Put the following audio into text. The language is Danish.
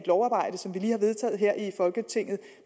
lovarbejde som vi lige har vedtaget her i folketinget